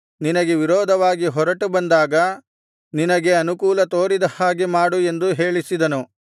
ನಿನಗೆ ವಿರೋಧವಾಗಿ ಹೊರಟು ಬಂದಾಗ ನಿನಗೆ ಅನುಕೂಲ ತೋರಿದ ಹಾಗೆ ಮಾಡು ಎಂದು ಹೇಳಿಸಿದನು